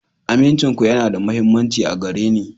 Amincinku yana da mahimmanci a gare ni.